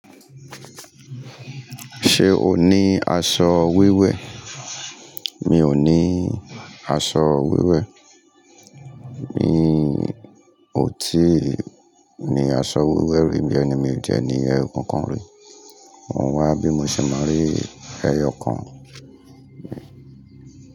Ṣé o ní aṣọ wiwẹ́? Mi ò ní aṣọ wẹ́wẹ́. Mi ò tí ì ní aṣọ wẹ́wẹ́ rí, ìjẹ́ ni mi ò jẹ́ ní ẹru kankan rí. Wọn wá bí mo ṣe máa rí ẹyọ kan.